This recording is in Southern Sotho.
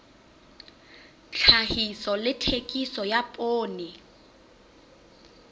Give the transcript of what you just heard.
tlhahiso le thekiso ya poone